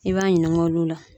I b'a ɲininka olu la.